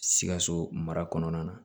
Sikaso mara kɔnɔna na